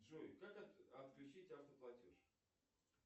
джой как отключить автоплатеж